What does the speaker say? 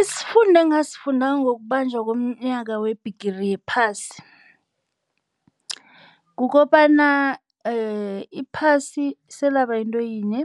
Isifundo engasifunda ngokubanjwa komnyaka weBhigiri yePhasi. Kukobana iphasi selaba yinto yinye,